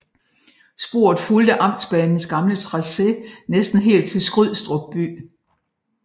Sporet fulgte amtsbanens gamle tracé næsten helt til Skrydstrup by